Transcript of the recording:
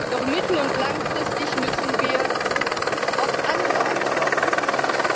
Doch mittel und langfristig müssen wir auch andere Antworten finden.